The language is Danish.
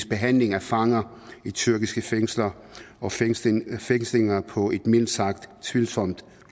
behandlingen af fanger i tyrkiske fængsler og fængslinger fængslinger på et mildt sagt tvivlsomt